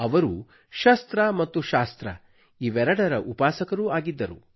ಅವರು ಶಸ್ತ್ರ ಮತ್ತು ಶಾಸ್ತ್ರ ಇವೆರಡರ ಉಪಾಸಕರೂ ಆಗಿದ್ದರು